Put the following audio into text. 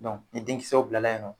ni den kisɛw bilala yen nɔ